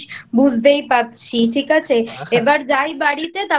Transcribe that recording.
বুঝতেই পারছি। ঠিক আছে এবার যাই বাড়িতে